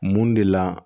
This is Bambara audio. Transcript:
Mun de la